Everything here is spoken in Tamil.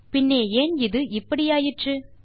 பின்னே ஏன் இது இப்படி ஆயிற்று